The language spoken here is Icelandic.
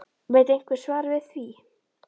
Veit einhver svarið við því???????